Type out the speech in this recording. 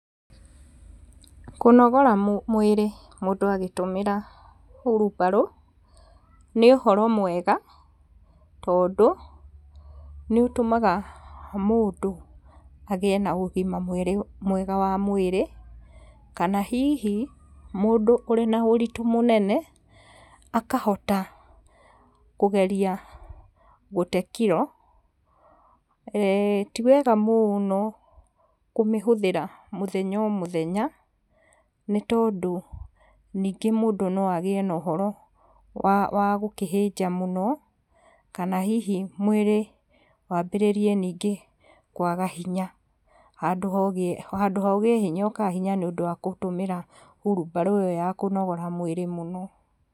Kũnogora mwĩrĩ mũndũ agĩtũmĩra hurubarũ, nĩ ũhoro mwega tondũ nĩ ũtũmaga mũndũ agĩe na ũgima mwega wa mwĩrĩ, kana hihi mũndũ ũrĩ na ũritũ mũnene, akahota kũgeria gũte kiro, ti wega mũno kũmĩhũthĩra mũthenya o mũthenya nĩ tondũ ningĩ mũndũ no agĩe na ũhoro wa wa gũkĩhĩnja mũno kana hihi mwĩrĩ wambĩrĩrie ningĩ kwaga hinya, handũ ha ũgĩe hinya ũkaga hinya nĩũndũ wa gũtũmĩra hurubarũ ĩyo ya kũnogora mwĩrĩ mũno.